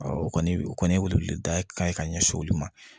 o kɔni o kɔni ye weleda ye ka ɲɛsin olu ma